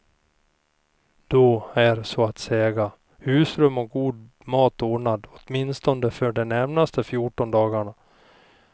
Då är så att säga husrum och god mat ordnad åtminstone för de närmaste fjorton dagarna.